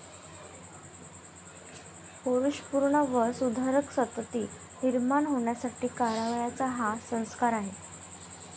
पौरुषपूर्ण व सुधरध संतती निर्माण होण्यासाठी करावयाचा हा संस्कार आहे.